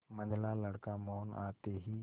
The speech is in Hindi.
मंझला लड़का मोहन आते ही